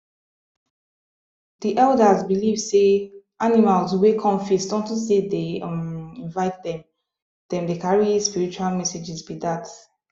the elders believe say animals wey come feast on to say them um no invite them them dey carry spiritual messages be dat